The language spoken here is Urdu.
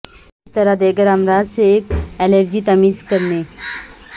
کس طرح دیگر امراض سے ایک الرجی تمیز کرنے